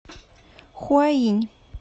хуаинь